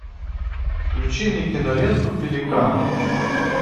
включи мне киноленту пеликан